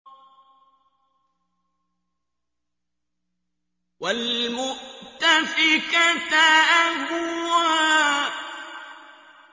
وَالْمُؤْتَفِكَةَ أَهْوَىٰ